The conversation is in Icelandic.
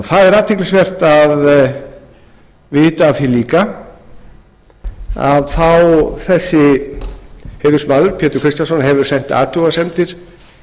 það er athyglisvert að vita af því líka að þessi heiðursmaður pétur kristjánsson hefur sent athugasemdir